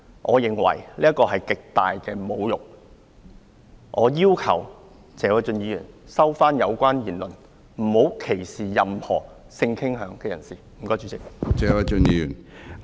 我認為這是極大的侮辱，我要求謝偉俊議員收回有關言論，不要歧視任何性傾向人士，多謝主席。